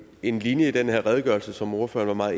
en linje i den her redegørelse som ordføreren var